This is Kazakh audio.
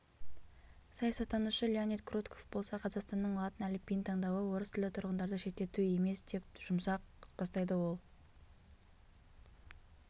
саясаттанушы леонид крутков болса қазақстанның латын әліпбиін таңдауы орыстілді тұрғындарды шеттету емес деп жұмсақ бастайды ол